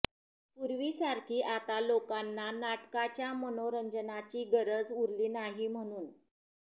पूर्वीसारखी आता लोकांना नाटकाच्या मनोरंजनाची गरज उरली नाही म्हणून